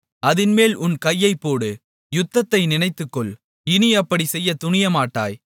அதின்மேல் உன் கையைப்போடு யுத்தத்தை நினைத்துக்கொள் இனி அப்படிச் செய்யத் துணியமாட்டாய்